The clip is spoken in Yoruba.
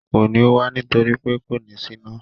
Kò ní wá nítorí pé kò ní síná